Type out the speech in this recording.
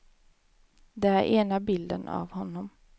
Det är ena bilden av honom.